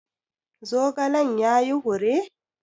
Zogalen ya yi hure?